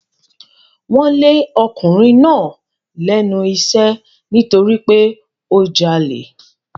Wọ́n lé ọkùnrin náà lẹ́nu iṣẹ́ nítorí pé ó jalè.